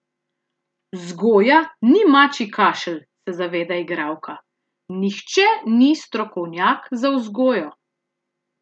Vzgoja ni mačji kašelj, se zaveda igralka: "Nihče ni strokovnjak za vzgojo.